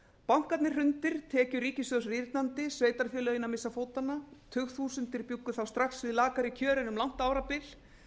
bankarnir hrundir tekjur ríkissjóðs rýrnandi sveitarfélögin að missa fótanna tugþúsundir bjuggu þá strax við lakari kjör en um langt árabil